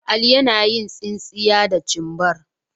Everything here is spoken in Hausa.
Ali yana yin tsinsinya da cimbar.